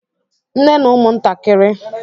Ndị nne na ụmụntakịrị na-anọ n'ụlọ